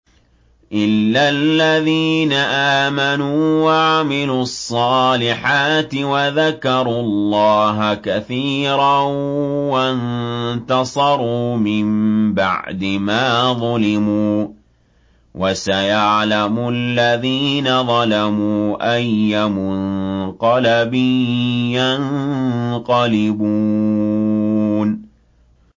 إِلَّا الَّذِينَ آمَنُوا وَعَمِلُوا الصَّالِحَاتِ وَذَكَرُوا اللَّهَ كَثِيرًا وَانتَصَرُوا مِن بَعْدِ مَا ظُلِمُوا ۗ وَسَيَعْلَمُ الَّذِينَ ظَلَمُوا أَيَّ مُنقَلَبٍ يَنقَلِبُونَ